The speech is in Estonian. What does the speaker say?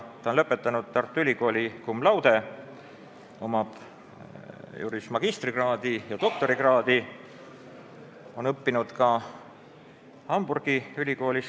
Ta on lõpetanud Tartu Ülikooli cum laude, tal on õigusteaduse magistrikraad ja doktorikraad ning ta on õppinud kaks aastat ka Hamburgi Ülikoolis.